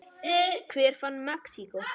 Hver fann Mexíkó?